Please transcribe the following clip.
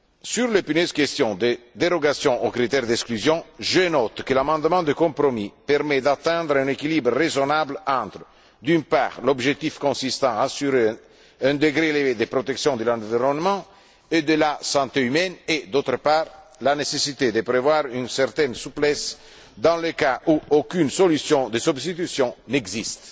Sur l'épineuse question des dérogations aux critères d'exclusion, je note que l'amendement de compromis permet d'atteindre un équilibre raisonnable entre, d'une part, l'objectif consistant à assurer un degré élevé de protection de l'environnement et de la santé humaine et, d'autre part, la nécessité de prévoir une certaine souplesse dans le cas où aucune solution de substitution n'existe.